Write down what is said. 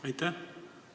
Aitäh!